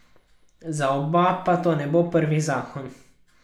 Za oba pa to ne bo prvi zakon.